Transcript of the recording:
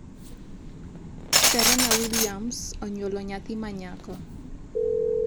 Serena Williams onyuolo nyathi ma nyako